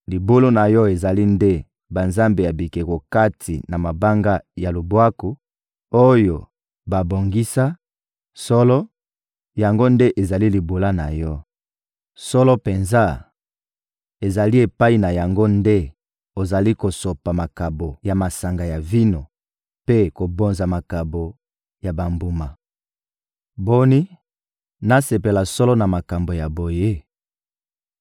Libula na yo ezali nde banzambe ya bikeko kati na mabanga ya lubwaku, oyo babongisa; solo, yango nde ezali libula na yo. Solo penza, ezali epai na yango nde ozali kosopa makabo ya masanga ya vino mpe kobonza makabo ya bambuma. Boni, nasepela solo na makambo ya boye?